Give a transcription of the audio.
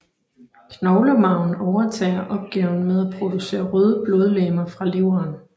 Knoglemarven overtager opgaven med at producere røde blodlegemer fra leveren